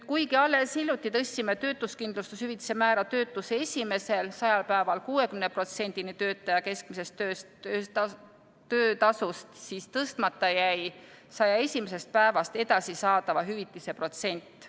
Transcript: Kuigi alles hiljuti tõstsime töötuskindlustushüvitise määra töötuse esimesel 100-l päeval 60%-ni töötaja keskmisest töötasust, siis tõstmata jäi 101. päevast edasi saadava hüvitise protsent.